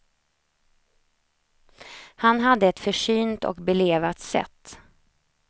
Han hade ett försynt och belevat sätt.